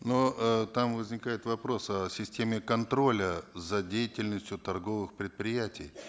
но э там возникает вопрос о системе контроля за деятельностью торговых предприятий